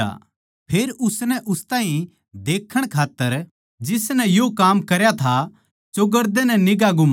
फेर उसनै उस ताहीं देखण खात्तर जिसनै यो काम करया था चोगरदेनै निगांह घुमाई